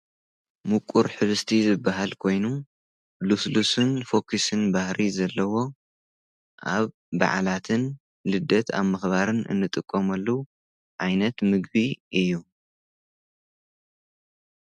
ሙቊር ሕብሽቲ ዝበሃል ኮይኑ ሉስሉስን ፎኩስን ባህሪ ዘለዎ ኣብ በዕላትን ልደት ኣብ ምኽባርን እንጥቆምሉ ዓይነት ምግቢ እዩ።